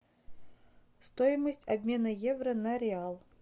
стоимость обмена евро на реал